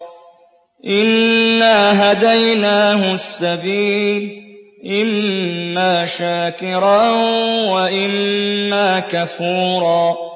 إِنَّا هَدَيْنَاهُ السَّبِيلَ إِمَّا شَاكِرًا وَإِمَّا كَفُورًا